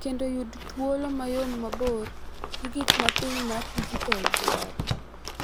Kendo yud thuolo mayom mabor gi gik ma piny mar dijital dwaro